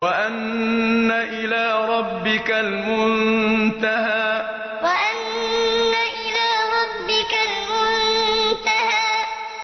وَأَنَّ إِلَىٰ رَبِّكَ الْمُنتَهَىٰ وَأَنَّ إِلَىٰ رَبِّكَ الْمُنتَهَىٰ